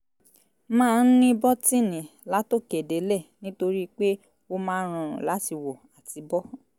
máa ń ní bọ́tíìnì látòkè délẹ̀ nítorí pé ó máa ń rọrùn láti wọ̀ àti bọ́